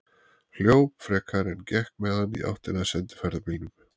Hljóp frekar en gekk með hann í áttina að sendiferðabílnum.